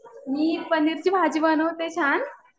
मी पनीरची भाजी बनवते छान.